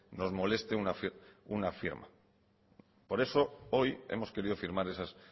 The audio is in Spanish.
nos moleste una firma por eso hoy hemos querido firmar esas